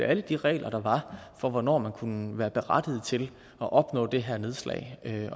alle de regler der var for hvornår man kunne være berettiget til at opnå det her nedslag det